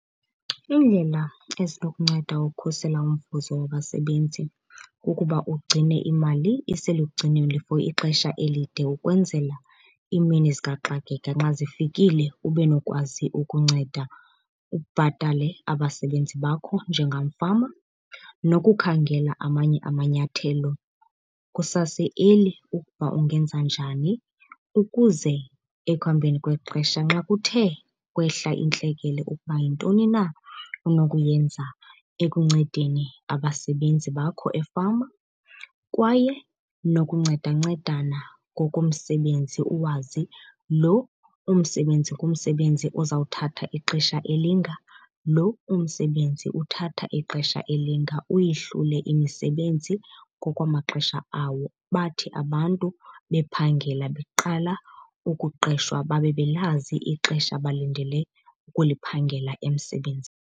Iindlela ezinokunceda ukhusela umvuzo wabasebenzi kukuba ugcine imali iselugcinweni for ixesha elide ukwenzela iimini zikaxakeka nxa zifikile ube nokwazi ukunceda ubhatale abasebenzi bakho njengamfama. Nokukhangela amanye amanyathelo kusase-early ukuba ungenza njani ukuze ekuhambeni kwexesha nxa kuthe kwehla intlekele ukuba yintoni na onokuyenza ekuncedeni abasebenzi bakho efama. Kwaye nokuncedancedana ngokomsebenzi, uwazi lo ngumsebenzi uzawuthatha ixesha elinga, lo umsebenzi uthatha ixesha elinga. Uyihlule imisebenzi ngokwamaxesha awo, bathi abantu bephangela beqala ukuqeshwa babe belazi ixesha abalindele ukuliphangela emsebenzini.